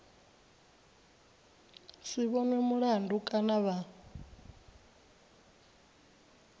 si vhonwe mulandu kana vha